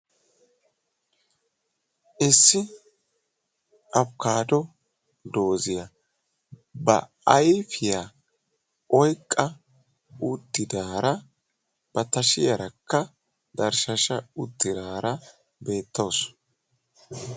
issi afkkaato dozziya ba ayifiya oyiqqa ba tashiyaarakka tarshshashsha uttidaara beettawusu.